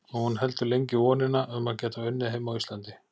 Og hún heldur lengi í vonina um að geta unnið heima á Íslandi.